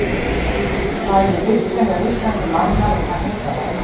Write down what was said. Hvað eru virkjanir á Íslandi margar og hvað heita þær?